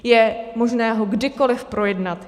Je možného ho kdykoliv projednat.